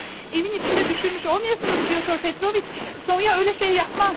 Evin içində düşürmüş olmayasınız Pyotr Petroviç? Sonya elə şey yapmaz.